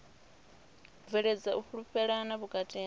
bveledza u fhulufhelana vhukati ha